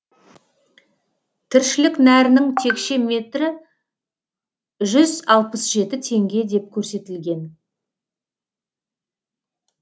тіршілік нәрінің текше метрі жүз алпыс жеті теңге деп көрсетілген